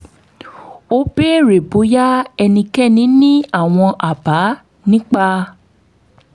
ó béèrè bóyá ẹnikẹ́ni ní àwọn àbá nípa